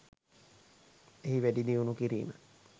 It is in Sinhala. එහි වැඩිදියුණු කිරීම